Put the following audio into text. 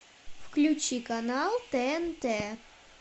включи канал тнт